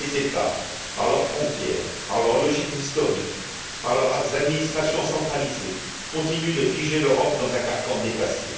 Or, les États, par leurs frontières, par leurs logiques historiques, par leurs administrations centralisées, continuent de figer l'Europe dans un carcan dépassé.